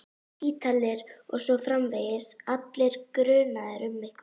Ítalir. og svo framvegis, allir grunaðir um eitthvað.